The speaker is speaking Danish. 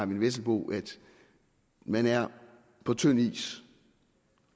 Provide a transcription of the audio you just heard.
vesselbo at man er på tynd is